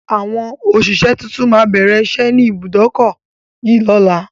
Àwọn òṣìṣẹ́ tuntun má bẹ̀rẹ̀ ìṣẹ́ ni ibùdókọ̀ yìí lọ́la